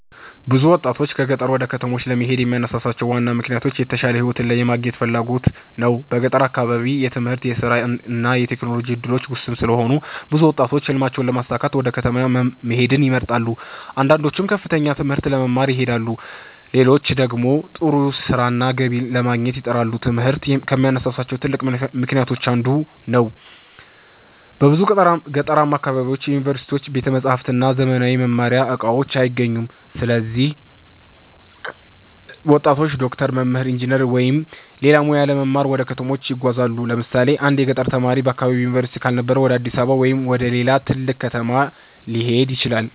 ብዙ ወጣቶች ከገጠር ወደ ከተሞች ለመሄድ የሚያነሳሳቸው ዋና ምክንያት የተሻለ ሕይወት የማግኘት ፍላጎት ነው። በገጠር አካባቢ የትምህርት፣ የሥራ እና የቴክኖሎጂ እድሎች ውስን ስለሆኑ ብዙ ወጣቶች ሕልማቸውን ለማሳካት ወደ ከተማ መሄድን ይመርጣሉ። አንዳንዶቹ ከፍተኛ ትምህርት ለመማር ይሄዳሉ፣ ሌሎች ደግሞ ጥሩ ሥራና ገቢ ለማግኘት ይጥራሉ። ትምህርት ከሚያነሳሳቸው ትልቅ ምክንያቶች አንዱ ነው። በብዙ ገጠራማ አካባቢዎች ዩኒቨርሲቲዎች፣ ቤተ መጻሕፍት እና ዘመናዊ የመማሪያ እቃዎች አይገኙም። ስለዚህ ወጣቶች ዶክተር፣ መምህር፣ ኢንጂነር ወይም ሌላ ሙያ ለመማር ወደ ከተሞች ይጓዛሉ። ለምሳሌ አንድ የገጠር ተማሪ በአካባቢው ዩኒቨርሲቲ ካልነበረ ወደ አዲስ አበባ ወይም ወደ ሌላ ትልቅ ከተማ ሊሄድ ይችላል።